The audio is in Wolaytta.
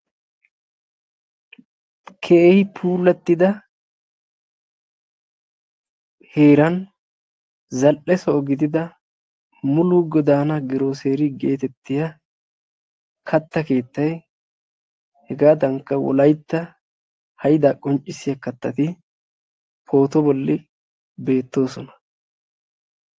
Keehi puulattida heeran zal"e soho gidida mulu godanaa girooseriyaa getettiyaa katta keettayhegaadanikka wolaytta hayddaa qonccisiyaa kattati pooto bolli beettoosona.